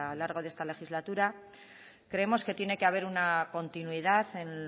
lo largo de esta legislatura creemos que tiene que haber una continuidad en